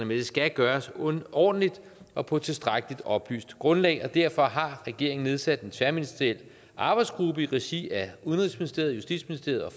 det skal gøres ordentligt og på et tilstrækkelig oplyst grundlag derfor har regeringen nedsat en tværministeriel arbejdsgruppe i regi af udenrigsministeriet justitsministeriet og